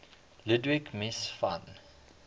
ludwig mies van